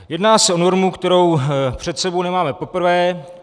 Jedná se o normu, kterou před sebou nemáme poprvé.